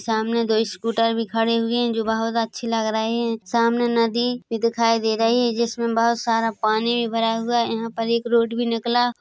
सामने दो स्कूटर भी खड़े हुए है जो बहुत अच्छे लग रहे है सामने नदी भी दिखाई दे रही है जिसमें बहुत सारा पानी भी भरा हुआ है यहाँ पर एक रोड भी निकला --